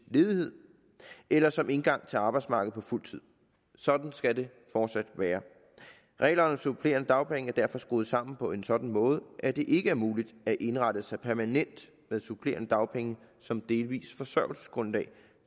ledighed eller som indgang til arbejdsmarkedet på fuld tid sådan skal det fortsat være reglerne om supplerende dagpenge er derfor skruet sammen på en sådan måde at det ikke er muligt at indrette sig permanent med supplerende dagpenge som delvis forsørgelsesgrundlag